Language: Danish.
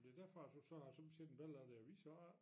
Det derfor du så har sommetider en billede af det og viser af det